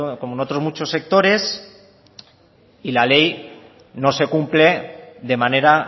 como en otros muchos sectores y la ley no se cumple de manera